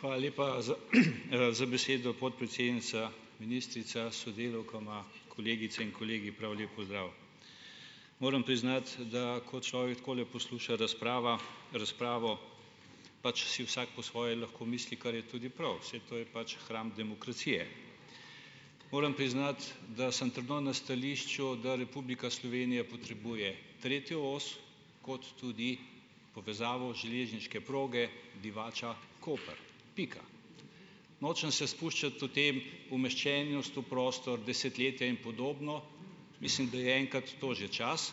Hvala lepa za za besedo, podpredsednica, ministrica, sodelavkama, kolegice in kolegi, prav lep pozdrav. Moram priznati, da ko človek takole posluša razprava razpravo, pač si vsak po svoje lahko misli, kar je tudi prav. Saj to je pač hram demokracije. Moram priznati, da sem trdno na stališču, da Republika Slovenija potrebuje tretjo os, kot tudi povezavo železniške proge Divača Koper. Pika. Nočem se spuščati o tem umeščenost v prostor, desetletja in podobno. Mislim, da je enkrat to že čas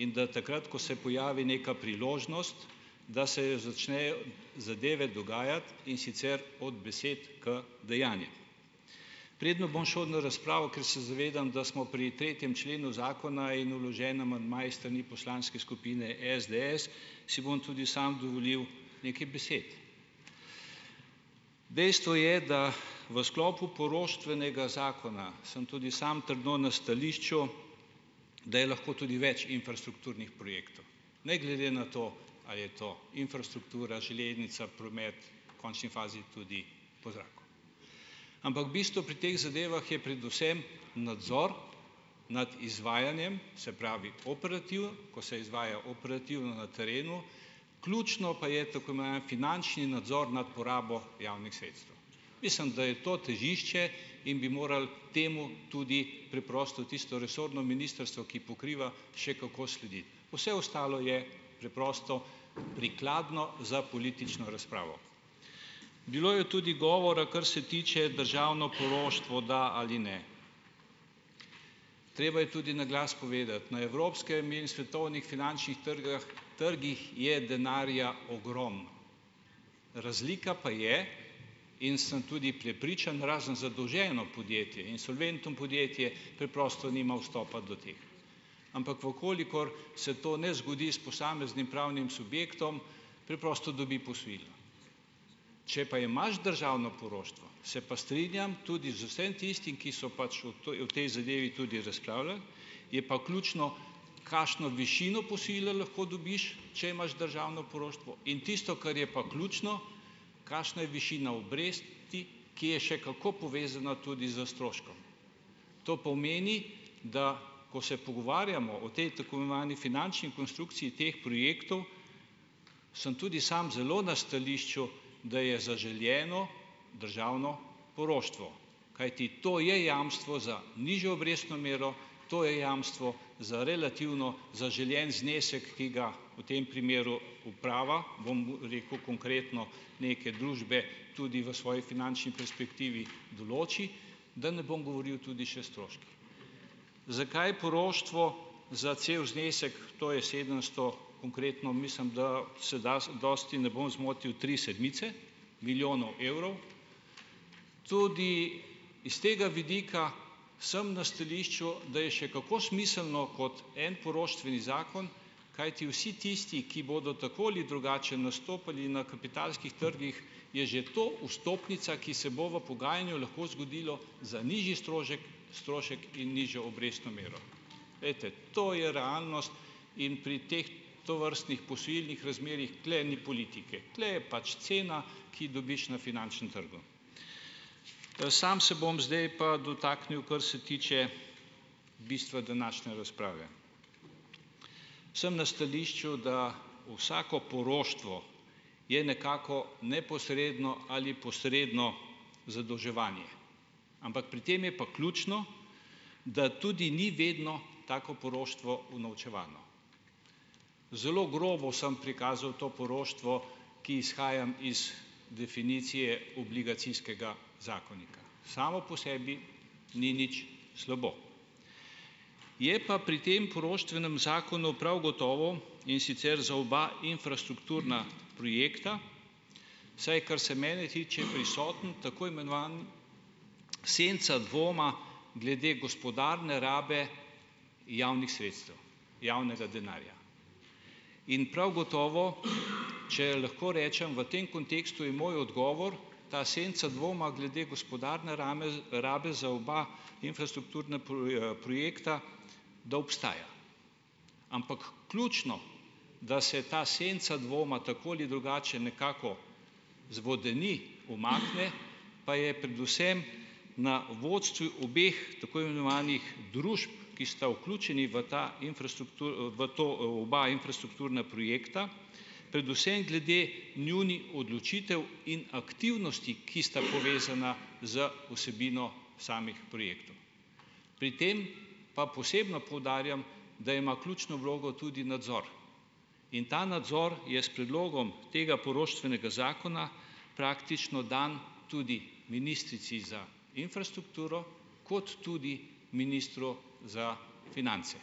in da takrat, ko se pojavi neka priložnost, da se jo začne zadeve dogajati, in sicer od besed k dejanjem. Preden bom šel na razpravo, ker se zavedam, da smo pri tretjem členu zakona in vložen amandma iz strani poslanske skupine SDS, si bom tudi sam dovolil nekaj besed. Dejstvo je, da v sklopu poroštvenega zakona, sem tudi sam trdno na stališču, da je lahko tudi več infrastrukturnih projektov. Ne glede na to, a je to infrastruktura, železnica, promet, v končni fazi tudi po zraku. Ampak bistvo pri teh zadevah je predvsem nadzor nad izvajanjem, se pravi, ko se izvaja operativ na terenu. Ključno pa je tako imenovani finančni nadzor nad porabo javnih sredstev. Mislim, da je to težišče, in bi moralo temu tudi preprosto tisto resorno ministrstvo, ki pokriva, še kako slediti. Vse ostalo je preprosto prikladno za politično razpravo. Bilo je tudi govora, kar se tiče državno poroštvo da ali ne. Treba je tudi na glas povedati, na evropskem in svetovnih finančnih trgh trgih je denarja ogromno. Razlika pa je, in sem tudi prepričan, razen zadolženo podjetje in solventno podjetje preprosto nima vstopa do teh. Ampak v kolikor se to ne zgodi s posameznim pravnim subjektom, preprosto dobi posojilo. Če pa imaš državno poroštvo, se pa strinjam tudi z vsem tistim, ki so pač o o tej zadevi tudi razpravljali, je pa ključno, kakšno višino posojila lahko dobiš, če imaš državno poroštvo, in tisto kar je pa ključno, kakšna je višina obresti, ki je še kako povezana tudi s stroškom. To pomeni, da ko se pogovarjamo o tej tako imenovani finančni konstrukciji teh projektov, sem tudi sam zelo na stališču, da je zaželeno državno poroštvo. Kajti to je jamstvo za nižjo obrestno mero, to je jamstvo za relativno zaželen znesek, ki ga v tem primeru uprava, bom rekel, konkretno neke družbe tudi v svoji finančni perspektivi določi, da ne bom govoril tudi še stroški. Zakaj poroštvo za cel znesek, to je sedemsto konkretno mislim, da se dosti ne bom zmotil tri sedmice milijonov evrov. Tudi iz tega vidika sem na stališču, da je še kako smiselno kot en poroštveni zakon, kajti vsi tisti, ki bodo tako ali drugače nastopali na kapitalskih trgih, je že to vstopnica, ki se bo v pogajanju lahko zgodilo za nižji strošek strošek in nižjo obrestno mero. Glejte, to je realnost in pri teh tovrstnih posojilnih razmerjih tule ni politike, tule je pač cena, ki dobiš na finančnem trgu. Samo se bom zdaj pa dotaknil, kar se tiče bistva današnje razprave. Sem na stališču, da vsako poroštvo je nekako neposredno ali posredno zadolževanje, ampak pri tem je pa ključno, da tudi ni vedno tako poroštvo unovčevano. Zelo grobo sem prikazal to poroštvo, ki izhajam iz definicije obligacijskega zakonika, samo po sebi ni nič slabo, je pa pri tem poroštvenem zakonu prav gotovo, in sicer za oba infrastrukturna projekta, saj kar mene tiče, prisoten tako imenovani senca dvoma glede gospodarne rabe javnih sredstev, javnega denarja. In prav gotovo, če lahko rečem, v tem kontekstu je moj odgovor, ta senca dvoma glede gospodarne rabi za oba infrastrukturna projekta, da obstaja, ampak ključno, da se ta senca dvoma tako ali drugače nekako zvodeni, umakne pa je predvsem na vodstvu obeh tako imenovanih družb, ki sta vključeni v ta v to oba infrastrukturna projekta, predvsem glede njunih odločitev in aktivnosti, ki sta povezana z vsebino samih projektov. Pri tem pa posebno poudarjam, da ima ključno vlogo tudi nadzor in ta nadzor je s predlogom tega poroštvenega zakona praktično dan tudi ministrici za infrastrukturo kot tudi ministru za finance.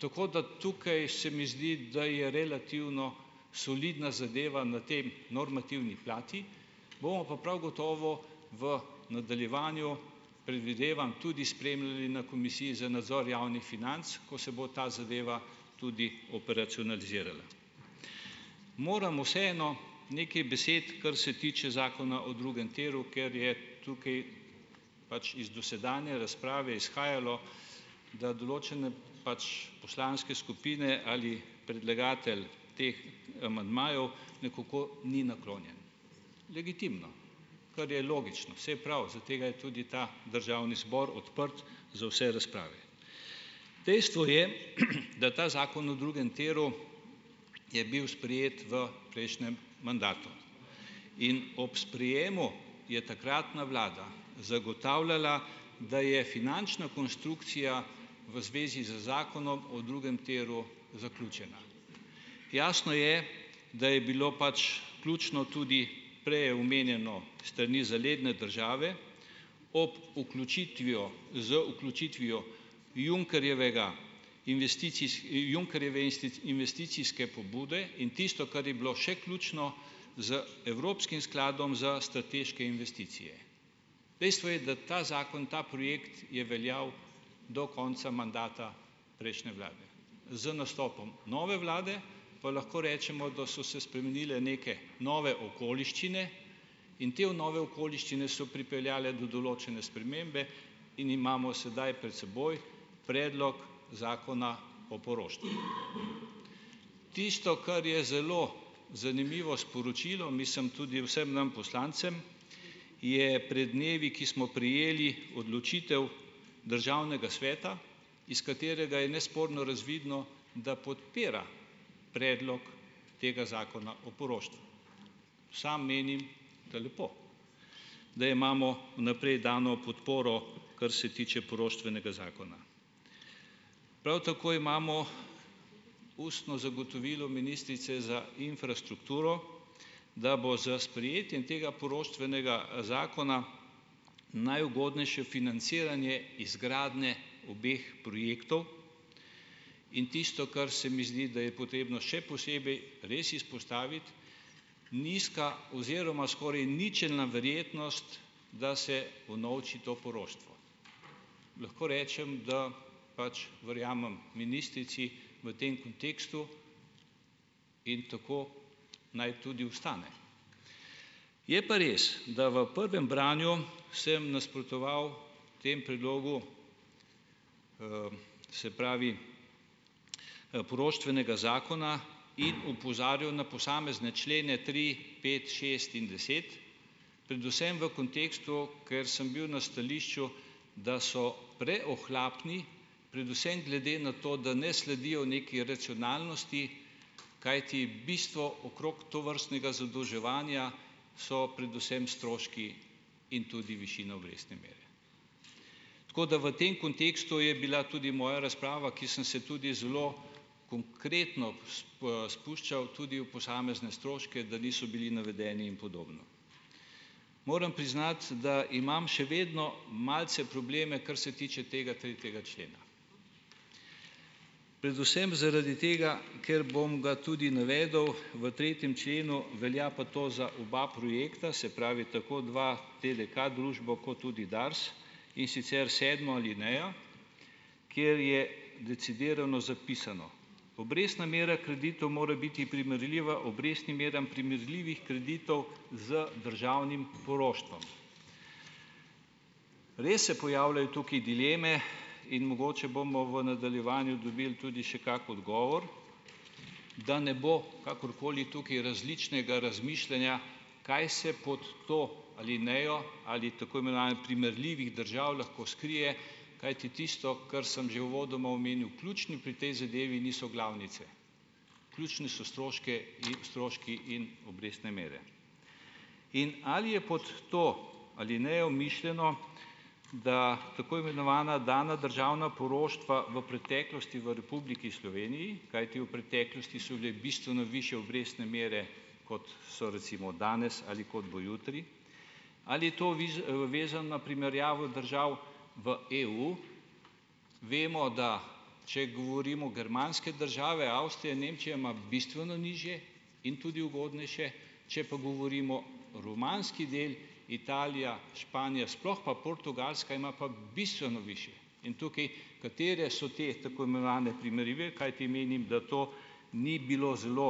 Tako, da tukaj se mi zdi, da je relativno solidna zadeva na tem normativni plati, bomo pa prav gotovo v nadaljevanju, predvidevam, tudi spremljali na Komisiji za nadzor javnih financ, ko se bo ta zadeva tudi operacionalizirala. Moram vseeno nekaj besed, kar se tiče Zakona o drugem tiru, ker je tukaj pač iz dosedanje razprave izhajalo, da določene pač poslanske skupine ali predlagatelj teh amandmajev nekako ni naklonjen, legitimno, kar je logično, saj prav za tega je tudi ta Državni zbor odprt za vse razprave. Dejstvo je, da ta zakon o drugem tiru je bil sprejet v prejšnjem mandatu in ob sprejemu je takratna vlada zagotavljala, da je finančna konstrukcija v zvezi z zakonom o drugem tiru zaključena, jasno je, da je bilo pač ključno tudi prej omenjeno s strani zaledne države ob vključitvijo z vključitvijo Junckerjevega Junckerjeve investicijske pobude in tisto, kar je bilo še ključno z Evropskim skladom za strateške investicije. Dejstvo je, da ta zakon, ta projekt je veljal do konca mandata prejšnje vlade z nastopom nove vlade pa lahko rečemo, da so spremenile neke nove okoliščine in te nove okoliščine so pripeljale do določene spremembe in imamo sedaj pred seboj predlog Zakona o poroštvu. Tisto, kar je zelo zanimivo sporočilo, mislim tudi vsem nam poslancem je pred dnevi, ki smo prejeli odločitev Državnega sveta, iz katerega je nesporno razvidno, da podpira predlog tega zakona o poroštvu. Samo menim, da lepo, da imamo v naprej dano podporo, kar se tiče poroštvenega zakona. Prav tako imamo ustno zagotovilo ministrice za infrastrukturo, da bo s sprejetjem tega poroštvenega zakona najugodnejše financiranje izgradnje obeh projektov in tisto, kar se mi zdi, da je potrebno še posebej res izpostaviti, nizka oziroma skoraj ničelna verjetnost, da se unovči to poroštvo. Lahko rečem, da pač verjamem ministrici v tem kontekstu in tako naj tudi ostane. Je pa res, da v prvem branju sem nasprotoval temu predlogu, se pravi poroštvenega zakona in opozarjal na posamezne člene tri, pet šest in deset predvsem v kontekstu, ker sem bil na stališču, da so preohlapni, predvsem glede na to, da ne sledijo nekaj racionalnosti, kajti bistvo okrog tovrstnega zadolževanja so predvsem stroški in tudi višina obrestne mere. Tako, da v tem kontekstu je bila tudi moja razprava, ki sem se tudi zelo konkretno spuščal tudi v posamezne stroške, da niso bili navedeni in podobno. Moram priznati, da imam še vedno malce probleme, kar se tiče tega tretjega člena. Predvsem zaradi tega, ker, bom ga tudi navedel, v tretjem členu velja pa to za oba projekta, se pravi tako dva TDK družbo, kot tudi DARS, in sicer sedmo alinejo, kjer je decidirano zapisano: "obrestna miru kreditov mora biti primerljiva obrestnim meram primerljivih kreditov z državnim poroštvom." Res se pojavljajo tukaj dileme in mogoče bomo v nadaljevanju dobili tudi še kakšen odgovor. Da ne bo kakorkoli tukaj različnega razmišljanja, kaj se pod to alinejo ali tako imenovane primerljivih držav lahko skrije, kajti tisto, kar sem že uvodoma omenil, ključni pri tej zadevi niso glavnice. Ključni so stroške in stroški in obrestne mere. In ali je pod to alinejo mišljeno, da tako imenovana dana državna poroštva v preteklosti v Republiki Sloveniji, kajti v preteklosti so bile bistveno višje obrestne mere, kot so recimo danes ali kot bo jutri ali je to vezana primerjavo držav v EU. Vemo, da če govorimo germanske države, Avstrija, Nemčija, ima bistveno nižje in tudi ugodnejše, če pa govorimo romanski del, Italija, Španija, sploh pa Portugalska ima pa bistveno višje. In tukaj, katere so te tako imenovane primerljive, kajti menim, da to ni bilo zelo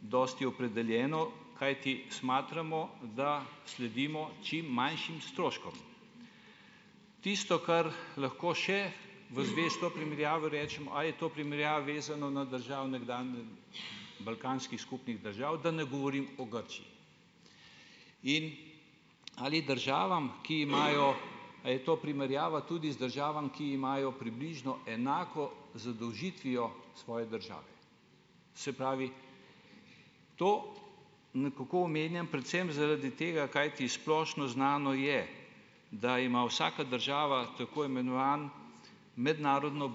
dosti opredeljeno, kajti smatramo, da sledimo čim manjšim stroškom. Tisto, kar lahko še v zvesto primerjavo rečem, a je to primerjava vezano na državne balkanskih skupnih držav, da ne govorim o Grčiji. In ali državam, ki imajo, a je to primerjava tudi z državami, ki imajo približno enako zadolžitvijo svoje države. Se pravi, to nekako omenjam predvsem zaradi tega, kajti splošno znano je, da ima vsaka država tako imenovan mednarodno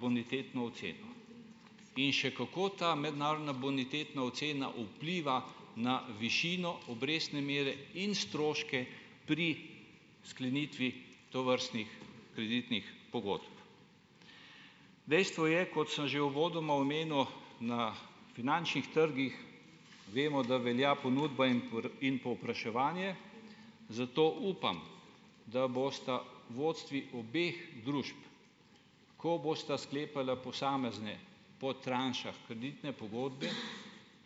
bonitetno oceno. In še kako ta mednarodna bonitetna ocena vpliva na višino obrestne mere in stroške pri sklenitvi tovrstnih kreditnih pogodb. Dejstvo je, kot sem že uvodoma omenil, na finančnih trgih vemo, da velja ponudba in in povpraševanje, zato upam, da bosta vodstvi obeh družb, ko bosta sklepala posamezne po tranšah kreditne pogodbe,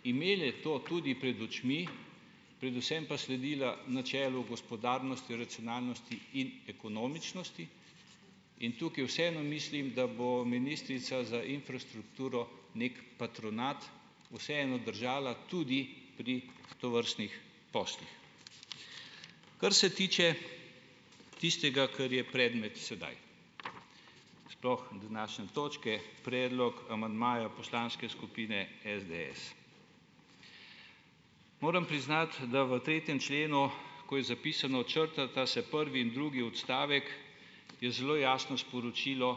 imele to tudi pred očmi, predvsem pa sledila načelu gospodarnosti racionalnosti in ekonomičnosti in tukaj vseeno mislim, da bo ministrica za infrastrukturo neki patronat vseeno držala tudi pri tovrstnih poslih. Kar se tiče tistega, kar je predmet sedaj. Sploh današnje točke, predlog amandmaja Poslanske skupine SDS. Moram priznati, da v tretjem členu, ko je zapisano, črtata se prvi in drugi odstavek, je zelo jasno sporočilo,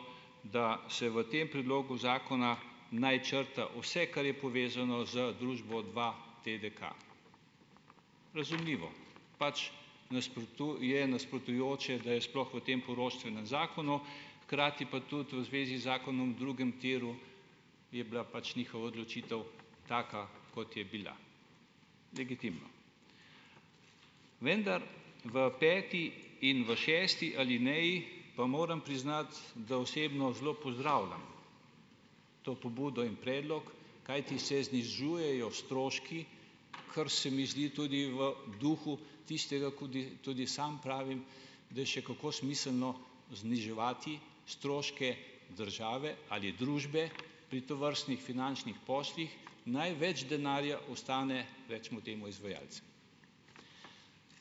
da se v tem predlogu zakona naj črta vse, kar je povezano z družbo dvaTDK Razumljivo. Pač nasprotujoče, da je sploh v tem poroštvenem zakonu, hkrati pa tudi v zvezi z zakonom o drugem tiru je bila pač njihova odločitev taka, kot je bila. Legitimno. Vendar v peti in v šesti alineji pa moram priznati, da osebno zelo pozdravljam to pobudo in predlog, kajti se znižujejo stroški, kar se mi zdi tudi v duhu tistega, tudi samo pravim, da je še kako smiselno zniževati stroške države ali družbe, pri tovrstnih finančnih poslih. Največ denarja ostane recimo temu izvajalcem.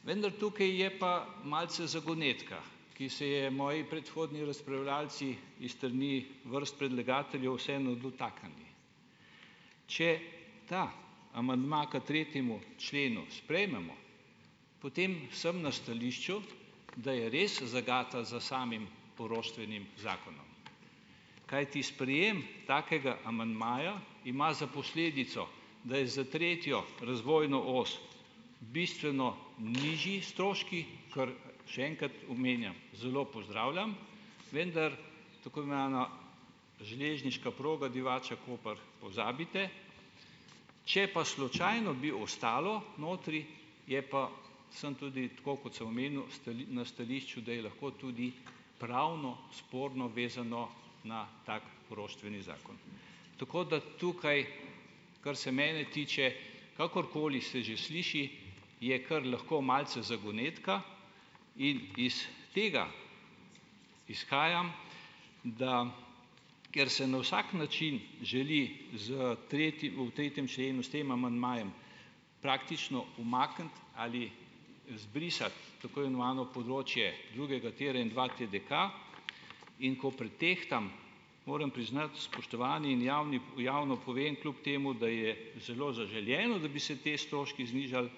Vendar tukaj je pa malce zagonetka, ki se je moji predhodni razpravljavci iz strani vrst predlagateljev, vseeno dotaknili. Če ta amandma k tretjemu členu sprejmemo, potem sem na stališču, da je res zagata za samim poroštvenim zakonom. Kajti sprejem takega amandmaja ima za posledico, da je za tretjo razvojno os bistveno nižji stroški, kar še enkrat omenjam, zelo pozdravljam, vendar tako imenovana železniška proga Divača-Koper pozabite, če pa slučajno bi ostalo notri, je pa sem tudi tako, kot sem omenil, na stališču, da je lahko tudi pravno sporno vezano na tako poroštveni zakon. Tako da tukaj, kar se mene tiče, kakorkoli se že sliši, je kar lahko malce zagonetka in iz tega izhajam, da ker se na vsak način želi v tretjem členu s tem amandmajem praktično umakniti ali izbrisati tako imenovano področje drugega tira in dvaTDK, in ko pretehtam, moram priznati, spoštovani, in javno povem, kljub temu da je zelo zaželeno, da bi se te stroški znižali,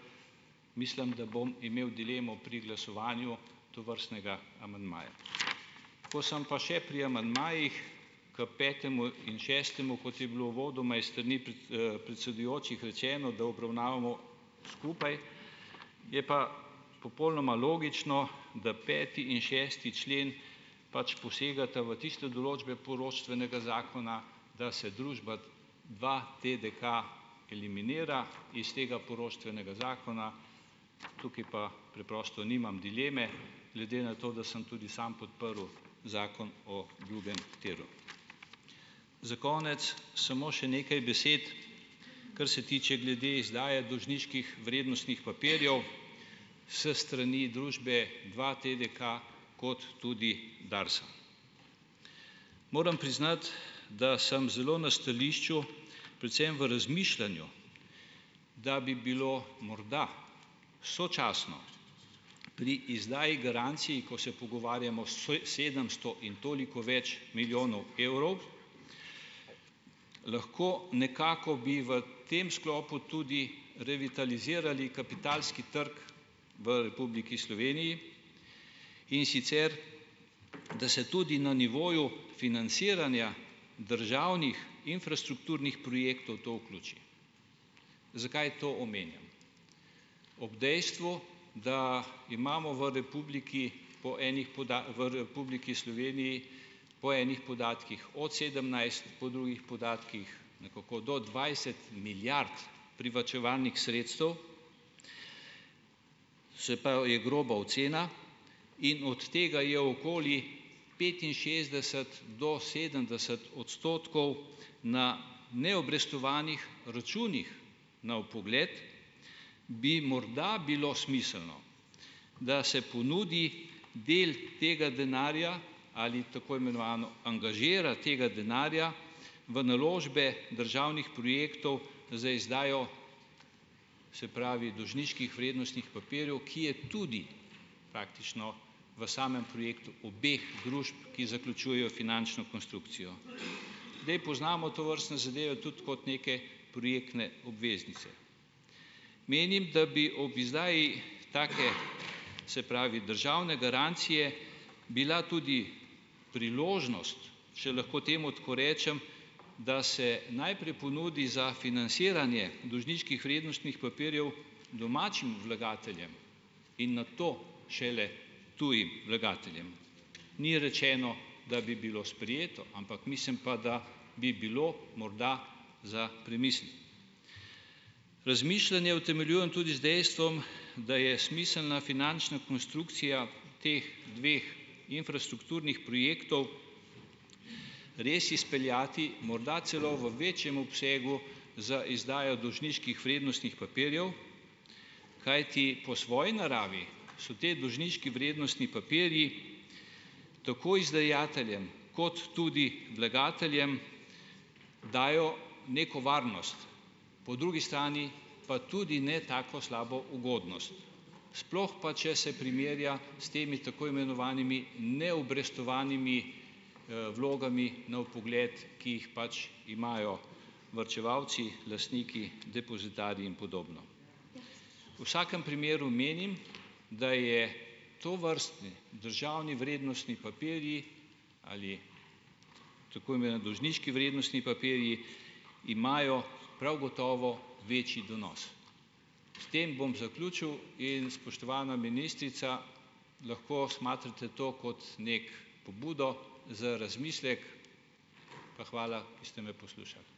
mislim, da bom imel dilemo pri glasovanju tovrstnega amandmaja. Ko sem pa še pri amandmajih, k petemu in šestemu, kot je bilo uvodoma iz strani predsedujočih rečeno, da obravnavamo skupaj, je pa popolnoma logično, da peti in šesti člen pač posegata v tiste določbe poroštvenega zakona, da se družba dvaTDK eliminira iz tega poroštvenega zakona. Tukaj pa preprosto nimam dileme, glede na to, da sem tudi sam podprl Zakon o drugem tiru. Za konec samo še nekaj besed, kar se tiče glede izdaje dolžniških vrednostnih papirjev s strani družbe dvaTDK kot tudi Darsa. Moram priznati, da sem zelo na stališču, predvsem v razmišljanju, da bi bilo morda sočasno pri izdaji garancij, ko se pogovarjamo s sedemsto in toliko več milijonov evrov, lahko nekako bi v tem sklopu tudi revitalizirali kapitalski trg v Republiki Sloveniji, in sicer da se tudi na nivoju finansiranja državnih infrastrukturnih projektov to vključi. Zakaj to omenjam? Ob dejstvu, da imamo v Republiki po ene v Republiki Sloveniji po ene podatkih od sedemnajst, po drugih podatkih nekako do dvajset milijard privarčevanih sredstev, se pravi je groba ocena in od tega je okoli petinšestdeset do sedemdeset odstotkov na ne obrestovanih računih na vpogled, bi morda bilo smiselno, da se ponudi del tega denarja ali tako imenovano angažira tega denarja v naložbe državnih projektov za izdajo, se pravi dolžniških vrednostnih papirjev, ki je tudi praktično v samem projektu obeh družb, ki zaključujejo finančno konstrukcijo. Zdaj poznamo tovrstne zadeve tudi kot neke projektne obveznice. Menim, da bi ob izdaji take, se pravi državne garancije, bila tudi priložnost, če lahko temu tako rečem, da se najprej ponudi za finasiranje dolžniških vrednostnih papirjev domačim vlagateljem in nato šele tujim vlagateljem. Ni rečeno, da bi bilo sprejeto, ampak mislim pa, da bi bilo morda za premisliti. Razmišljanje utemeljujem tudi z dejstvom, da je smiselna finančna konstrukcija teh dveh infrastrukturnih projektov res izpeljati, morda celo v večjem obsegu za izdajo dolžniških vrednostnih papirjev, kajti po svoji naravi so ti dolžniški vrednostni papirji tako izdajateljem kot tudi vlagateljem, dajo neko varnost, po drugi strani pa tudi ne tako slabo ugodnost, sploh pa, če se primerja s temi tako imenovanimi neobrestovanimi vlogami na vpogled, ki jih pač imajo varčevalci, lastniki, depozitarji in podobno. Vsakem primeru menim, da je tovrstni državni vrednostni papirji ali tako dolžniški vrednostni papirji imajo prav gotovo večji donos. S tem bom zaključil. In spoštovana ministrica, lahko smatrate to kot neki pobudo za razmislek. Pa hvala, da ste me poslušali.